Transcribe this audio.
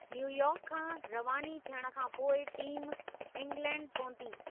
New York खां रवानी थियण खां पोइ टीम इंग्लैंड पहुती।